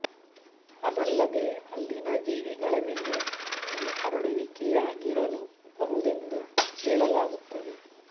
ಅದಲ್ಲದೇ ಅಲ್ಲಿನ ಜೀವಿಗಳ ಮೇಲೆ ಈ ಹರಡುವಿಕೆಯಾಗಿರಲೂ ಬಹುದೆಂದು ಹೇಳಲಾಗುತ್ತದೆ